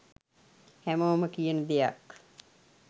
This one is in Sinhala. හැමෝම කියන දෙයක්.